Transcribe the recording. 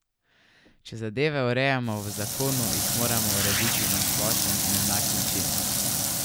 Če zadeve urejamo v zakonu, jih moramo urediti na splošen in enak način.